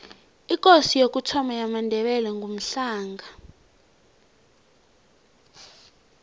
ikosi yokuthoma yamandebele ngumhlanga